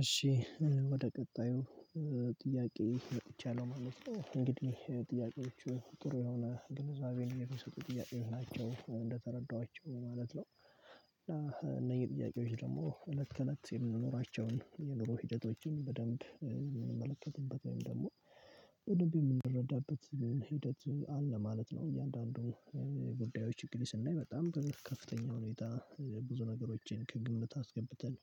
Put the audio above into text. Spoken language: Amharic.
እሺ ወደ ቀጣዩ ጥያቄ መጥቻለሁ ማለት ነው እንግዲህ ጥያቄዎቹ ጥሩ የሆነ ግንዛቤን የሚሰጡ ጥያቄዎች ናቸው እንደተረዳኋቸው ማለት ነው። እነዚህ ጥያቄዎች ደግሞ ለኩነት የምንኖራቸውን የኑሮ ሂደቶችን በደንብ የምንመለከትበት ወይም ደግሞ በደንብ የምንረዳበት ሂደት አለ ማለት ነው። እያንዳንዱ ጉዳዮች እንግዲህ ስናይ በጣም ከፍተኛ ሁኔታ ብዙ ነገሮችን ከግምት አስገብተን።